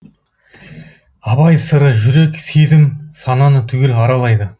абай сыры жүрек сезім сананы түгел аралайды